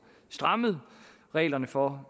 strammet reglerne for